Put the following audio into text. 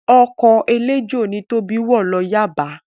Ọkọ̀ eléjò ni Tóbi wọ̀ lọ Yaba